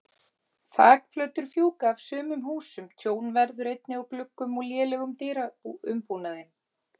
Þakplötur fjúka af sumum húsum, tjón verður einnig á gluggum og lélegum dyraumbúnaði.